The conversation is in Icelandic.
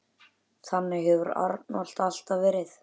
Þannig hefur Arnold alltaf verið.